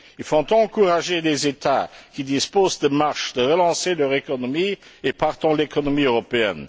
Il faut encourager les États qui disposent de marge à relancer leur économie et, partant, l'économie européenne.